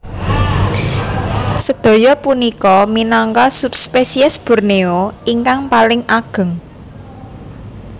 Sedaya punika minangka subspesies Borneo ingkang paling ageng